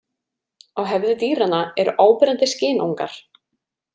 Á höfði dýranna eru áberandi skynangar.